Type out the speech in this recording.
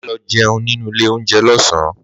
Màá lõ jéun nínú ìlé ounjé lõsán